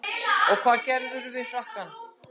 En hvað gerðirðu við frakkann?